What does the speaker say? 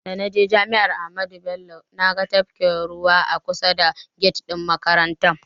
Da naje jami'ar Amadu Bello naga tafkin ruwa a kusa da get ɗin makarantar.